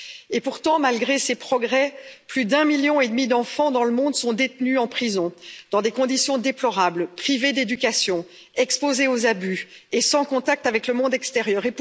Et pourtant, malgré ces progrès, plus d'1,5 million d'enfants dans le monde sont détenus en prison, dans des conditions déplorables, privés d'éducation, exposés aux abus et sans contact avec le monde extérieur.